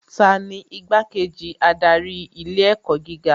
Tani Igbá-kejì adarí ilé ẹ̀kọ́ gíga